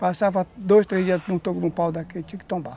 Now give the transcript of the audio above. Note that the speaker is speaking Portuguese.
Passava dois, três dias num pau daqui, tinha que tombar.